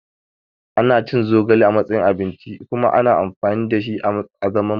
Ana cin zogale a matsayin abinci kuma ana amfani da shi a zaman magani.